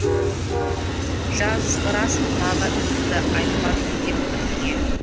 жазғырасың тағы ініңді айтпадың деп бірдеңе